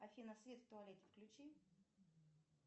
афина свет в туалете включи